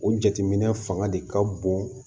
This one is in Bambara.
O jateminɛ fanga de ka bon